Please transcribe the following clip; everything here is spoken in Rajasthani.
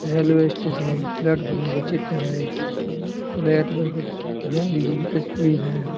रेलवे स्टेशन एक प्लेटफार्म को चित्र है प्लेटफार्म पर गाँधी जी की तस्वीर है।